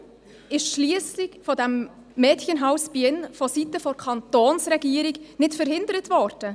Warum ist die Schliessung des Mädchenhauses Bienne vonseiten der Kantonsregierung nicht verhindert worden?